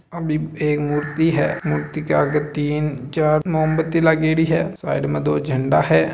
अभी एक मूर्ति है मूर्ति के आगे तीन चार मोमबत्ती लागेड़ी है साइड में दो झंडा है।